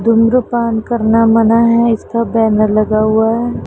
धूम्रपान करना मना है इसका बैनर लगा हुआ है।